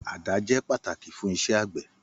Àdá jẹ pataki fun íṣẹ agbẹ.